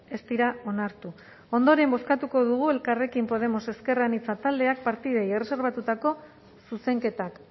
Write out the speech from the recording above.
ez dira onartu ondoren bozkatuko dugu elkarrekin podemos ezker anitza taldeak partidei erreserbatutako zuzenketak